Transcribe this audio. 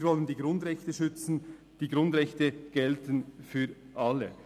Wir wollen die Grundrechte schützen, die Grundrechte gelten für alle.